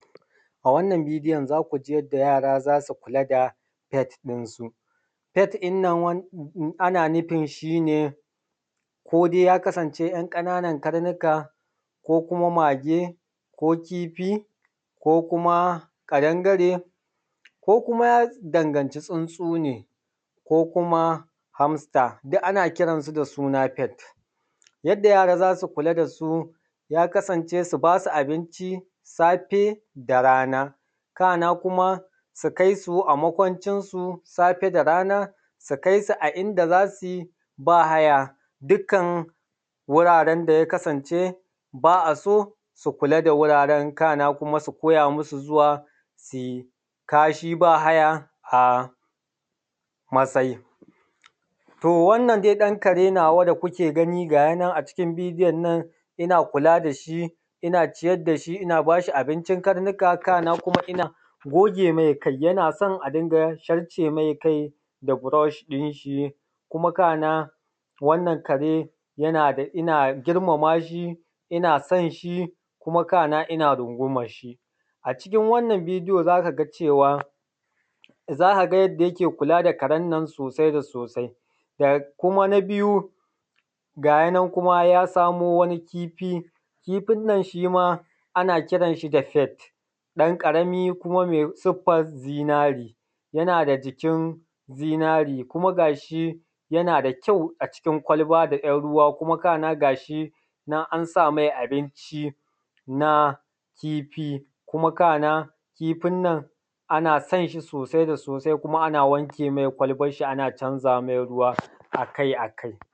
A wannan bidiyon za ku ji yadda yara za su kula da pet ɗinsu, pet ɗin nan ana nufin shi ne ko dai ya kasance ‘yan ƙana nan karnuka ko kuma mage ko kifi ko kuma ƙadangare ko kuma ya danganci tsuntsu ne ko kuma hamster duk ana kiransu da suna pet. Yadda yara za su kula da su, ya kasance su ba su abinci safe da rana, kana kuma su kai su a makwancinsu safe da rana, sukai su a inda za su yi ba haya, duk kan wuraren da ya kasance ba a so, su kula da wuraren. Kana kuma su koya musu zuwa su yi kashi ba haya a masai, to wannan dai ɗan kare nawa da kuke ganin a cikin bidion nan ina kula da shi, ina ciyar da shi ina ba shi abincin karnuka. Na kuma ina goge mai kai, yana son a rinƙa sharce mai kai da burush ɗin shi kuma kana wannan kare yana da ina girmama shi, ina san shi kuma kana ina rungumanshi. A cikin wannann bidiyo za ka ga cewa za ka ga yanda yake kula da karen nan sosai da sosai da kuma na biyu gayi nan ya samo wani kifi, kifin nnan shi ma ana kiran shi da pet ɗan ƙarami kuma mai siffan zinare, yana da jikin zinare kuma ga shi yana da kyau a cikin kwalba ɗan ruwa kuma kana ga shi nan an samai abinci na kifi kuma a kan kifin nan, ana san shi sosai da sosai, kuma ana wanek, mai kwalban shi ana canza mai ruwa akai-akai.